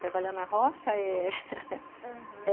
Trabalhar na roça, é... aham.